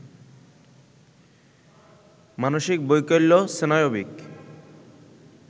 মানসিক বৈকল্য, স্নায়বিক